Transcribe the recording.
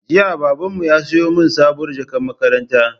Jiya Babanmu ya siyo min sabuwar jakar makaranta